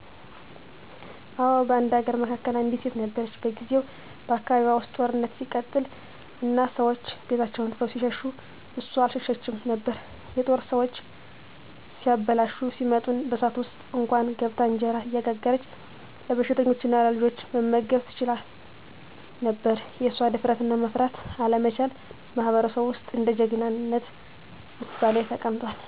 አዎ፣ በአንድ አገር መካከል አንዲት ሴት ነበረች። በጊዜው በአካባቢዋ ውስጥ ጦርነት ሲቀጥል እና ሰዎች ቤታቸውን ትተው ሲሸሹ እሷ አልሸሸችም ነበር። የጦር ሰዎች እያበላሹ ሲመጡ በእሳት ውስጥ እንኳን ገብታ እንጀራ እየጋገረች ለበሽተኞችና ለልጆች መመገብ ትችላ ነበር። የእሷ ድፍረትና መፍራት አለመቻል በማህበረሰቡ ውስጥ እንደ ጀግናነት ምሳሌ ተቀምጧል።